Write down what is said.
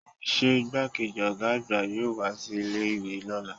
se igbákejì oga àgbà yọọ wa si ilé ìwé lọla?